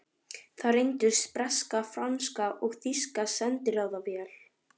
Þar reyndust breska, franska og þýska sendiráðið vel.